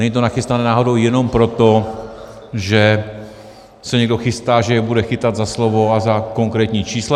Není to nachystané náhodou jenom proto, že se někdo chystá, že je bude chytat za slovo a za konkrétní čísla?